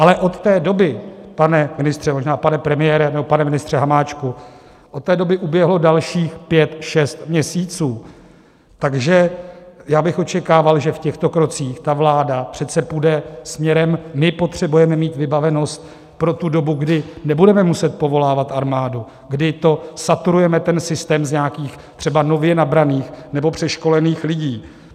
Ale od té doby, pane ministře, možná pane premiére nebo pane ministře Hamáčku, od té doby uběhlo dalších pět šest měsíců, takže já bych očekával, že v těchto krocích ta vláda přece půjde směrem - my potřebujeme mít vybavenost pro tu dobu, kdy nebudeme muset povolávat armádu, kdy to saturujeme, ten systém, z nějakých třeba nově nabraných nebo přeškolených lidí.